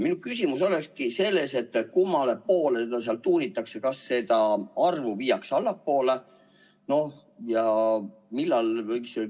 Minu küsimus ongi, kummale poole seda seal tuunitakse – kas seda arvu viiakse allapoole?